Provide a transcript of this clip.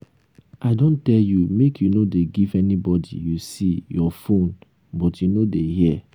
i don tell you make you no dey give anybody you see your phone but you no dey hear